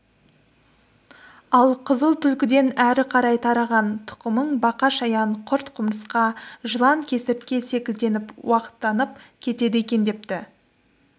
ал қызыл түлкіден әрі қарай тараған тұқымың бақа-шаян құрт-құмырсқа жылан-кесіртке секілденіп уақтанып кетеді екен депті